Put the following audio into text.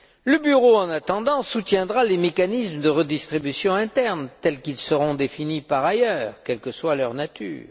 Le bureau, en attendant, soutiendra les mécanismes de redistribution interne tels qu'ils seront définis par ailleurs, quelle que soit leur nature.